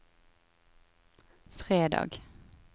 fredag